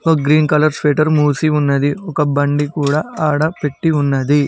Green colour shutter మూసి ఉన్నది ఒక బండి కూడా ఆడ పెట్టి ఉన్నది.